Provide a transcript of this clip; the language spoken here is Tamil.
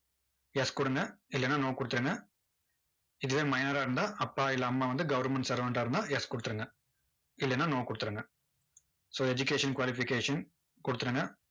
yes கொடுங்க. இல்லைன்னா no கொடுத்துருங்க இதுவே minor ஆ இருந்தா, அப்பா இல்ல அம்மா வந்து goverment servant ஆ இருந்தா yes கொடுத்துருங்க. இல்லைன்னா no கொடுத்துருங்க so education qualification கொடுத்துருங்க.